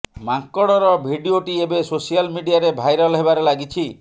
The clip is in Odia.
ମାଙ୍କଡର ଭିଡିଓଟି ଏବେ ସୋସିଆଲ ମିଡିଆରେ ଭାଇରାଲ ହେବାରେ ଲାଗିଛି